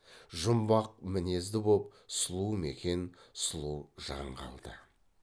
жұмбақ мінезді боп сұлу мекен сұлу жан қалды